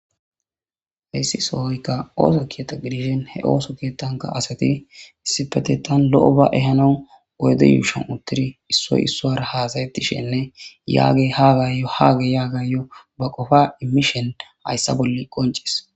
hayssi sohoyka ooso kiyata gidiishen he ooso keetanka asati issipetetan lo7o ba ehanon oyde yuushon uttidi issoy issoara haasayettishenne yaagey haagayyo haage yaagayyo ba qofa imishen hayssa bolle qoncis